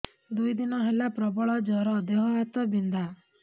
ଦୁଇ ଦିନ ହେଲା ପ୍ରବଳ ଜର ଦେହ ହାତ ବିନ୍ଧା